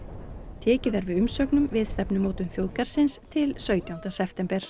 tekið er við umsögnum við stefnumörkun þjóðgarðsins til sautjánda september